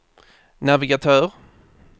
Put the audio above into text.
navigatör